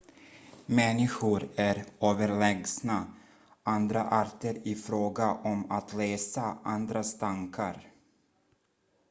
människor är överlägsna andra arter i fråga om att läsa andras tankar